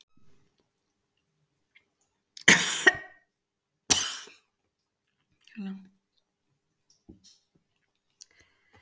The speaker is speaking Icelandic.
Auðvitað gat hún ekkert gert að því að hún væri lítil.